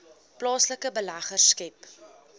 plaaslike beleggers skep